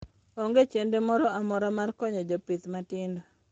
Onge chenro moro amora mar konyo jopith matindo.